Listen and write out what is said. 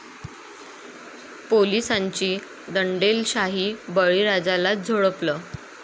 पोलिसांची दंडेलशाही, बळीराजालाच झोडपलं